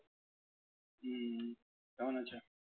হম কেমন আছো?